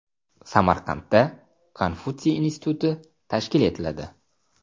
Samarqandda Konfutsiy instituti tashkil etiladi.